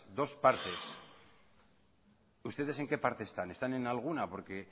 dos partes ustedes en qué parte están están en alguna porque